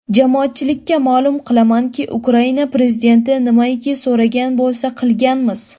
Jamoatchilikka ma’lum qilamanki, Ukraina prezidenti nimaiki so‘ragan bo‘lsa, qilganmiz.